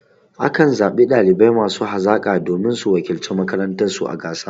A kan zaɓi ɗalibai masu hazaƙa domin su wakilci makarantar su a gasa.